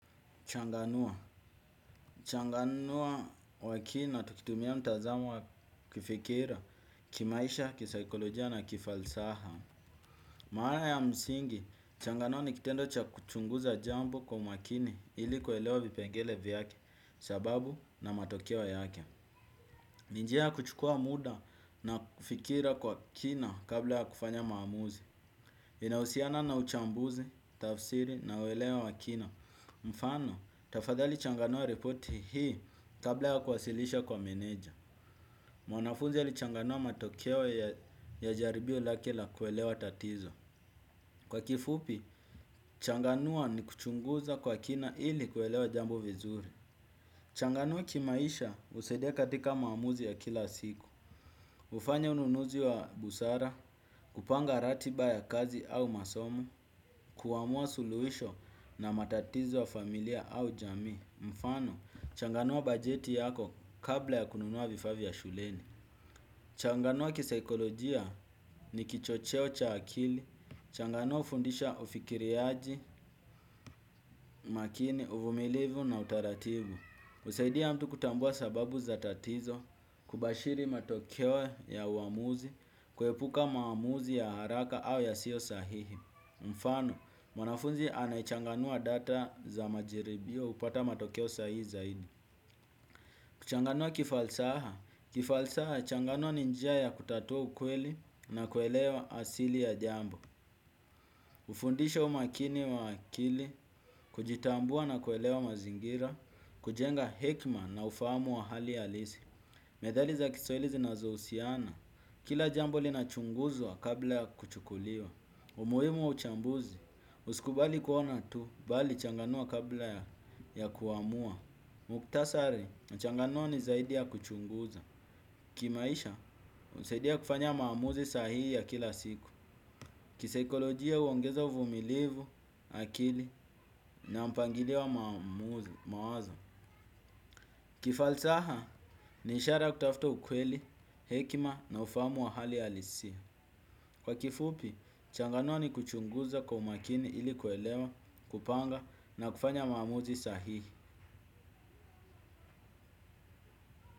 Changanua. Changanua wakina tukitumia mtazamo wa kifikira, kimaisha, kisaikolojia na kifalsaha. Maana ya msingi, changanua ni kitendo cha kuchunguza jambo kwa makini ili kuelewa vipengele vyake sababu na matokeo yake. Ni njia ya kuchukua muda na fikira kwa kina kabla ya kufanya maamuzi. Inausiana na uchambuzi, tafsiri na uelewa wa kina. Mfano, tafadhali changanua repoti hii kabla ya kuwasilisha kwa menedja. Mwanafunzi alichanganua matokeo ya jaribio lake la kuelewa tatizo. Kwa kifupi, changanua ni kuchunguza kwa kina ili kuelewa jambo vizuri. Changanua kimaisha usaidia katika maamuzi ya kila siku. Ufanya ununuzi wa busara, upanga ratiba ya kazi au masomo, kuamua suluisho na matatizo wa familia au jami. Mfano, changanua bajeti yako kabla ya kununua vifaa vya shuleni. Changanua kisaikolojia ni kichocheo cha akili. Changanua ufundisha ufikiriaji, makini, uvumilivu na utaratibu. Usaidia mtu kutambua sababu za tatizo, kubashiri matokeo ya uamuzi, kuepuka maamuzi ya haraka au yasiyo sahihi. Mfano, mwanafunzi anayechanganua data za majaribio upata matokeo sahihi zaidi. Kuchanganua kifalsaha, kifalsaha changanua ni njia ya kutatua ukweli na kuelewa asili ya jambo. Ufundisha umakini wa akili, kujitambua na kuelewa mazingira, kujenga hekima na ufahamu wa hali halisi. Methali za kiswahili ziozohusiana, kila jambo linachunguzwa kabla ya kuchukuliwa. Umuhimu wa uchambuzi, usikubali kuona tu, bali changanua kabla ya kuamua. Muktasari, uchanganua ni zaidi ya kuchunguza. Kimaisha, usaidia kufanya maamuzi sahii ya kila siku. Kisaikolojia uongeza uvumilivu, akili na mpangilio wa mawazo. Kifalsaha, ni ishara kutafuta ukweli, hekima na ufahamu wa hali halisia. Kwa kifupi, changanua ni kuchunguza kwa umakini ili kuelewa, kupanga na kufanya maamuzi sahihi.